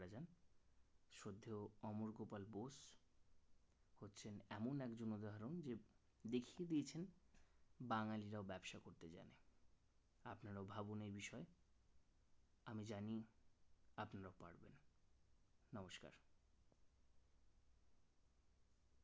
এমন একজন উদাহরণ যে দেখিয়ে দিয়েছেন বাঙালি রাও ব্যবসা করতে জানে আপনারাও ভাবুন এই বিষয়ে আমি জানি